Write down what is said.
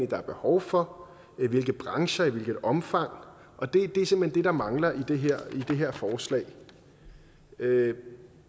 der er behov for i hvilke brancher i hvilket omfang og det er simpelt hen det der mangler i det her forslag det